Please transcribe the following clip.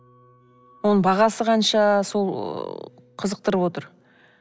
оның бағасы қанша сол ы қызықтырып отыр